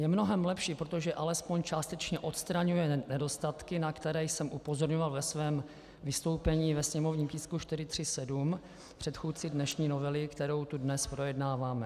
Je mnohem lepší, protože alespoň částečně odstraňuje nedostatky, na které jsem upozorňoval ve svém vystoupení ke sněmovním tisku 437, předchůdci dnešní novely, kterou tu dnes projednáváme.